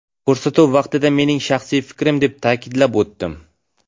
Ko‘rsatuv vaqtida mening shaxsiy fikrim, deb ta’kidlab o‘tdim.